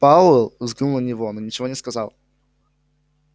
пауэлл взглянул на него но ничего не сказал